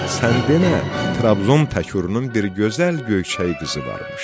Sən demə, Trabzon Təkrunun bir gözəl, göyçək qızı varmış.